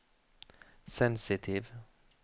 sensitiv